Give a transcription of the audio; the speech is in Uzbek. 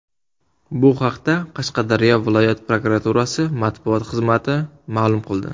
Bu haqda Qashqadaryo viloyat prokuraturasi matbuot xizmati ma’lum qildi .